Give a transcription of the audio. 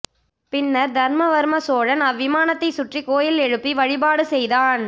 பின்னர் தர்மவர்ம சோழன் அவ்விமானத்தைச் சுற்றி கோயில் எழுப்பி வழிபாடு செய்தான்